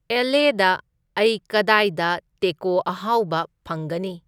L. ꯑꯦ.ꯗ ꯑꯩ ꯀꯗꯥꯏꯗ ꯇꯦꯀꯣ ꯑꯍꯥꯎꯕ ꯐꯪꯒꯅꯤ